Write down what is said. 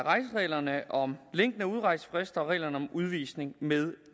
reglerne om længden af udrejsefrister og reglerne om udvisning med